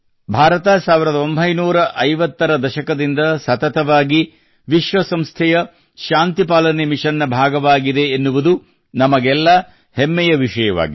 ಭಾರತ 1950 ರ ದಶಕದಿಂದ ಸತತವಾಗಿ ವಿಶ್ವ ಸಂಸ್ಥೆಯ ಶಾಂತಿ ಪಾಲನೆ ಮಿಶನ್ ನ ಭಾಗವಾಗಿದೆ ಎನ್ನುವುದು ನಮಗೆಲ್ಲಾ ಹೆಮ್ಮೆಯ ವಿಷಯವಾಗಿದೆ